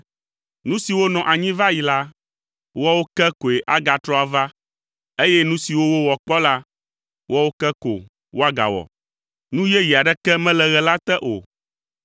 Nu siwo nɔ anyi va yi la, woawo ke koe agatrɔ ava eye nu siwo wowɔ kpɔ la, woawo ke ko woagawɔ. Nu yeye aɖeke mele ɣe la te o.